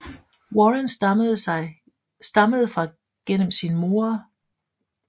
Warren stammede fra gennem sin mor